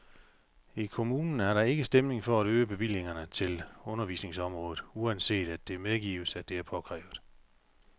I kommunen er der ikke stemning for at øge bevillingerne til undervisningsområdet, uanset at det medgives, at det er påkrævet.